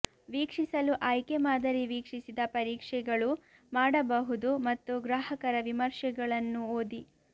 ವೀಕ್ಷಿಸಲು ಆಯ್ಕೆ ಮಾದರಿ ವೀಕ್ಷಿಸಿದ ಪರೀಕ್ಷೆಗಳು ಮಾಡಬಹುದು ಮತ್ತು ಗ್ರಾಹಕರ ವಿಮರ್ಶೆಗಳನ್ನು ಓದಿ